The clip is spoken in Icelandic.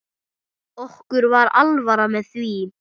Okkur var alvara með því.